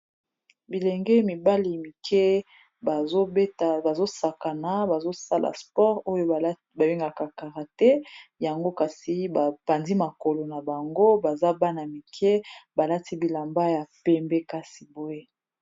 Bilenge mibale mikie zobeta bazosakana bazosala sport oyo babengaka kara te yango kasi bapandzi makolo na bango baza bana mikie balati bilamba ya pembe kasi boye.